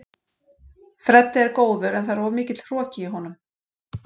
Freddi er góður en það er of mikill hroki í honum.